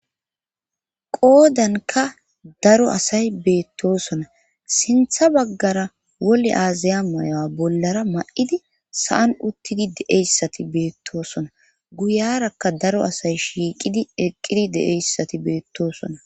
Goodanka daro asay beettosona sintha baggara wole aazaya mayo7a bollara ma7idi sa7an uttidi deeyssati beettoosona guyarakka daro asay shiiqidi eqqidi deeyssati beettosona.